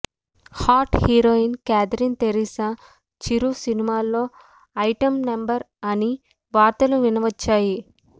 hot heroine Catherine Tresa Chiru సినిమాలో item number అని వార్తలు వినవచ్చాయి